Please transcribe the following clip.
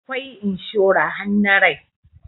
Akwai inshora har na rai